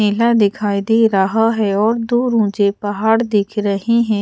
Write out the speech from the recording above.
मेला दिखाई दे रहा है और दुर मुझे पहाड़ दिख रहे है।